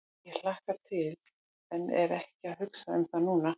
Ég hlakka til en er ekki að hugsa um það núna.